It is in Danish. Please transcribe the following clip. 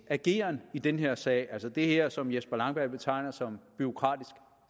ageren i den her sag altså det her som herre jesper langballe betegner som bureaukratisk